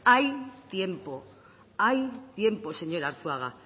hay tiempo hay tiempo señor arzuaga